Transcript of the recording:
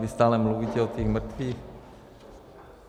Vy stále mluvíte o těch mrtvých.